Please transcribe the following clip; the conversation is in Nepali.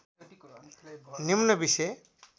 निम्न बिषय